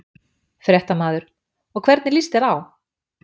Fréttamaður: Og hvernig líst þér á?